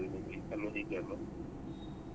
Memory ಜಾಗ.